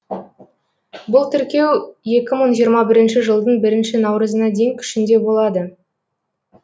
бұл тіркеу екі мың жиырма бірінші жылдың бірінші наурызына дейін күшінде болады